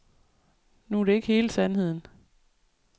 Nu er det ikke hele sandheden.